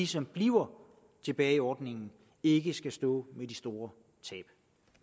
som bliver tilbage i ordningen ikke skal stå med de store tab